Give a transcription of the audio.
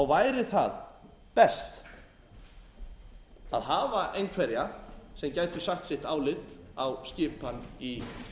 væri það best að hafa einhverja sem gætu sagt sitt álit á skipan í